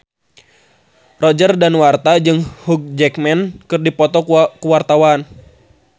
Roger Danuarta jeung Hugh Jackman keur dipoto ku wartawan